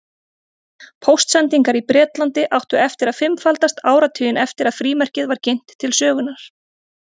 Póstsendingar í Bretlandi áttu eftir að fimmfaldast áratuginn eftir að frímerkið var kynnt til sögunnar.